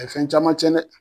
A ye fɛn caman tiɲɛ dɛ.